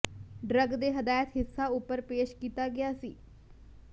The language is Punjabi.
ਡਰੱਗ ਦੇ ਹਦਾਇਤ ਹਿੱਸਾ ਉਪਰ ਪੇਸ਼ ਕੀਤਾ ਗਿਆ ਸੀ